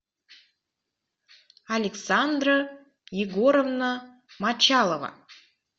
александра егоровна мочалова